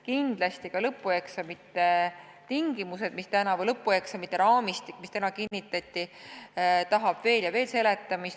Kindlasti on lõpueksamite tingimusi, seda raamistikku, mis täna kinnitati, vaja veel ja veel üle seletada.